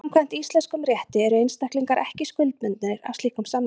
Samkvæmt íslenskum rétti eru einstaklingar ekki skuldbundnir af slíkum samningum.